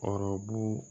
Ɔrɔbu